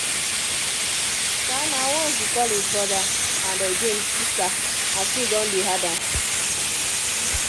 um nah once e call e brother and um sister as things don dey hard am